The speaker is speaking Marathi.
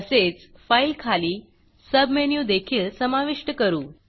तसेच Fileफाइल खाली सबमेनू देखील समाविष्ट करू